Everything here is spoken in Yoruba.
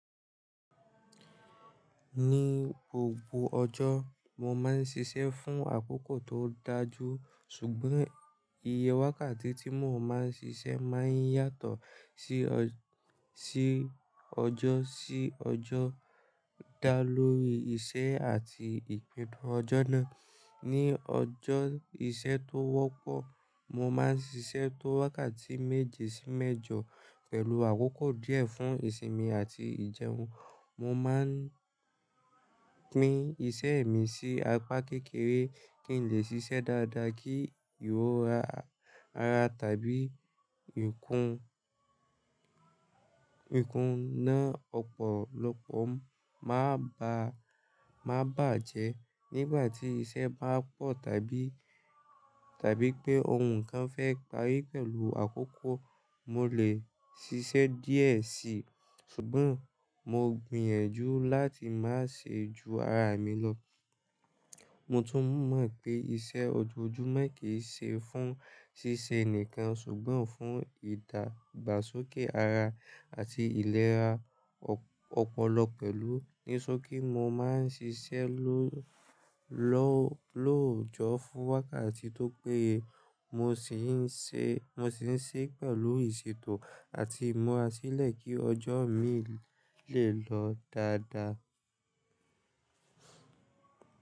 Ní gbogbo ọjọ́, mo máa ń ṣiṣẹ́ fún àkókò tó dájú, ṣùgbọ́n iye wákàtí tí mo máa ń ṣiṣẹ́ máa ń yàtọ̀ sí ọjọ́ sí ọjọ́ dá lórí iṣẹ́ àti ìpín ọjọ́ náà. Ní ọjọ́ iṣẹ́ tó wọ́pọ̀, mo máa ń ṣiṣẹ́ tó wákàtí méje sí mẹ́jọ pẹ̀lú àkókò díẹ̀ fún ìsinmi àti ìjẹun. Mo máa ń pín iṣẹ́ mi sí apá kékeré kí n lè ṣiṣẹ́ dáadáa kí ìrora ara tàbí ikùn ikùn ná ọ̀pọ̀lọpọ̀ má bàjẹ́. Nígbà tí iṣẹ́ bá pọ̀, tàbí tàbí pé ohun kan fẹ́ parí pẹ̀lú àkókò, mo lè ṣiṣẹ́ díẹ̀ sí i, ṣùgbọ́n mo gbìyànjú láti má ṣe ju ara mi lọ. Mo tún mọ̀ pé iṣẹ́ ojoojúmọ́ kì í ṣe fún ṣíṣe nìkan ṣùgbọ́n fún ìdàgbàsókè ara àti ìlera ọpọlọ pẹ̀lú. E ṣọ pé mo máa ń ṣiṣẹ́ lo lo- lóòjọ́ fún wákàtí tó péye, mo sì ń ṣe- mo sì ń ṣe é pẹ̀lú ìṣètò àti ìmlúrasílẹ̀ kí ọjọ́ mi lè lọ dáadáa.